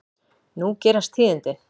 Nú gerast tíðindi.